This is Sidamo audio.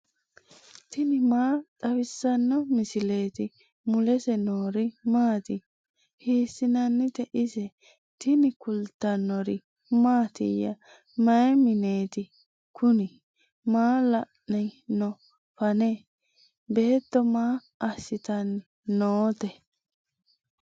tini maa xawissanno misileeti ? mulese noori maati ? hiissinannite ise ? tini kultannori mattiya? Mayi mineetti kunni? Maa la'anni noo fanne? beetto maa asittanni nootte?